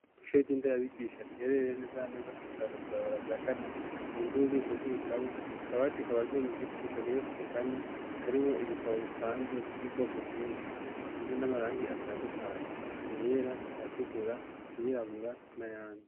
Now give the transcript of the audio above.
ku ishoy ry'indi ayabigisha rihererere neza neza kumusaga kwibarabara rya kane munzi ububiko bw'ibitabo akaba ati kabajwe mu giti kageretse kane karimo ibitabo bipanze by'ubwoko bwinshi isize n'amarangi atandukanye ayera ayatra ayirabura na yandi